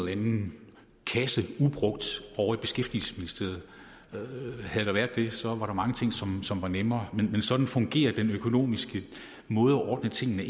anden kasse ubrugt ovre i beskæftigelsesministeriet havde der været det så var der mange ting som som var nemmere men sådan fungerer den økonomiske måde at ordne tingene